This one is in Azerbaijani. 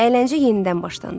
Əyləncə yenidən başlandı.